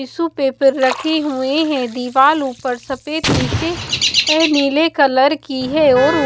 tissue paper रखे हुए हैं दीवाल ऊपर सफेद नीचे नीले कलर की है और--